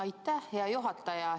Aitäh, hea juhataja!